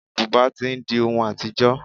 Bùbá tí ń di ohun àtijọ́.